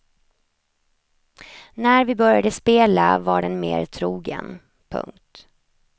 När vi började spela var den mer trogen. punkt